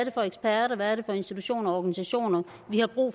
er for eksperter hvad det er for institutioner og organisationer vi har brug